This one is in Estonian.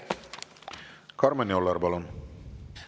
Karmen Joller, palun!